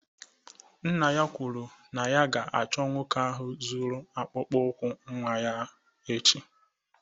Nna ya kwuru na ya ga-achọ nwoke ahụ zuru akpụkpọ ụkwụ nwa ya echi.